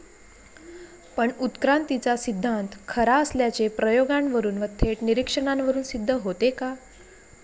पण उत्क्रांतीचा सिद्धान्त खरा असल्याचे प्रयोगांवरून व थेट निरीक्षणांवरून सिद्ध होते का?